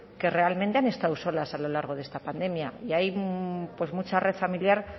que realmente han estado solas a lo largo de esta pandemia y hay mucha red familiar